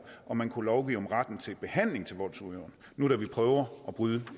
om man kunne lovgive om retten til behandling til voldsudøveren nu da vi prøver at bryde